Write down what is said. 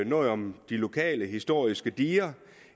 noget om de lokale historiske diger